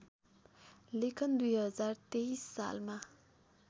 लेखन २०१३ सालमा